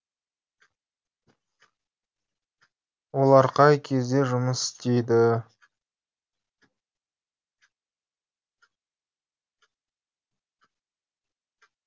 олар қай кезде жұмыс істейді